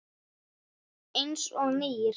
Eins og nýr.